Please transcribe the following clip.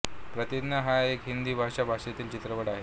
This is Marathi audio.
प्रतिज्ञा हा एक हिंदी भाषा भाषेतील चित्रपट आहे